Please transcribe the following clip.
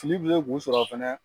Kilibi ye bu sɔrɔ a fɛnɛ